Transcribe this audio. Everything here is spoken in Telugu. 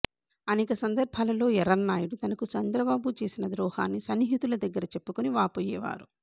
అనేక సందర్భాలలో ఎర్రన్నాయుడు తనకు చంద్రబాబు చేసిన ద్రోహాన్ని సన్నిహితుల దగ్గర చెప్పుకొని వాపోయేవారు